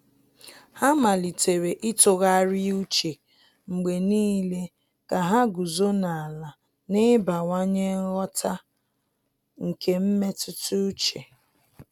Há màlị́tèrè ítụ́gharị́a úchè mgbe nìile kà há gùzòó n’álá na ị́bàwànyé nghọta nke mmetụta úchè.